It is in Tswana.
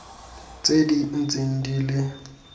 tse di ntseng di le